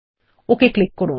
okay click করুন